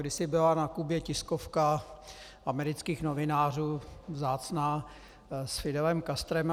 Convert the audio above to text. Kdysi byla na Kubě tiskovka amerických novinářů, vzácná, s Fidelem Castrem.